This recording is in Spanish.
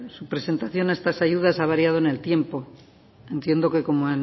su presentación a estas ayudas a variado en el tiempo entiendo que como